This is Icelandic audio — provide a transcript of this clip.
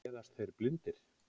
Fæðast þeir blindir?